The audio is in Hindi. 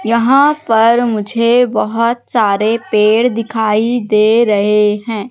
यहां पर मुझे बहोत सारे पेड़ दिखाई दे रहे हैं।